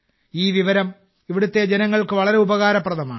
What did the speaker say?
ഈ വിവരം ഇവിടുത്തെ ജനങ്ങൾക്ക് വളരെ ഉപകാരപ്രദമാണ്